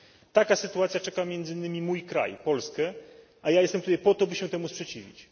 Taka sytuacja czeka między innymi mój kraj Polskę, a ja jestem tutaj po to, by się temu sprzeciwić.